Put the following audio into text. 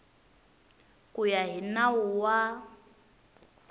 ku ya hi nawu wa